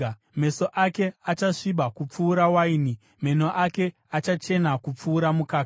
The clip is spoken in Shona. Meso ake achasviba kupfuura waini, meno ake achachena kupfuura mukaka.